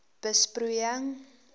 besproeiing